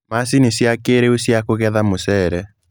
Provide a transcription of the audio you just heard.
Macini cia kĩrĩu cia kũgetha mũcere.